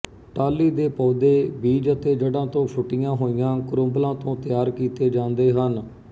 ਟਾਹਲੀ ਦੇ ਪੌਦੇ ਬੀਜ ਅਤੇ ਜੜ੍ਹਾਂ ਤੋਂ ਫੁੱਟੀਆਂ ਹੋਈਆਂ ਕਰੂੰਬਲਾਂ ਤੋਂ ਤਿਆਰ ਕੀਤੇ ਜਾਂਦੇ ਹਨ